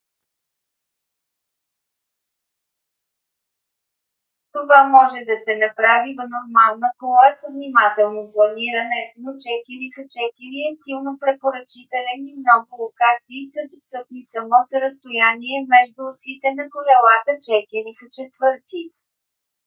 това може да се направи в нормална кола с внимателно планиране но 4х4 е силно препоръчителен и много локации са достъпни само с разстояние между осите на колелата 4х4